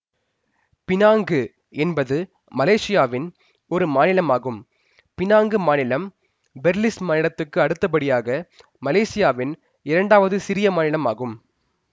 Penang என்பது மலேசியாவின் ஒரு மாநிலம் ஆகும் பினாங்கு மாநிலம் பெர்லிஸ் மாநிலத்துக்கு அடுத்த படியாக மலேசியாவின் இரண்டாவது சிறிய மாநிலம் ஆகும்